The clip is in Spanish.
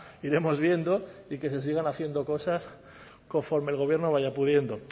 iremos viendo y que se sigan haciendo cosas conforme el gobierno vaya pudiendo